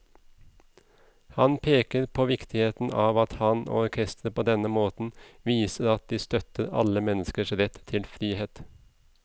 Han peker på viktigheten av at han og orkesteret på denne måten viser at de støtter alle menneskers rett til frihet.